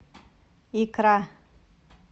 икра